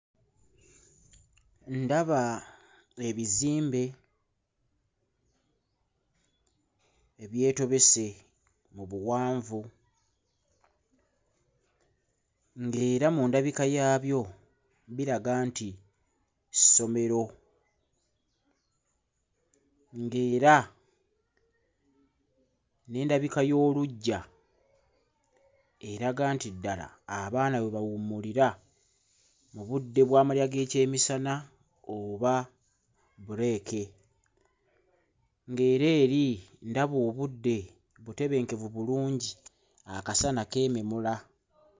Ndaba ebizimbe ebyetobese mu buwanvu ng'era mu ndabika yaabyo biraga nti ssomero, ng'era n'endabika y'oluggya eraga nti ddala abaana we bawummulira mu budde bw'amalya g'ekyemisana oba bbuleeke, ng'era eri ndaba obudde butebenkevu bulungi, akasana keememula.